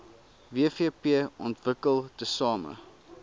wvp ontwikkel tesame